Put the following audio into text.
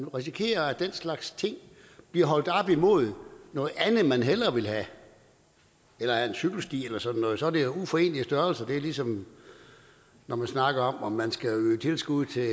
risikerer at den slags ting bliver holdt op imod noget andet man hellere vil have en cykelsti eller sådan noget og det er jo uforenelige størrelser det er ligesom når man snakker om om man skal øge tilskuddet til